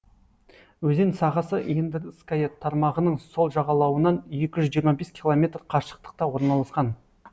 өзен сағасы ендырская тармағының сол жағалауынан екі жүз жиырма бес километр қашықтықта орналасқан